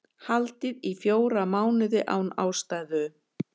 Haldið í fjóra mánuði án ástæðu